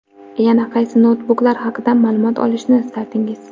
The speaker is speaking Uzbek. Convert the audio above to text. Yana qaysi noutbuklar haqida ma’lumot olishni istardingiz?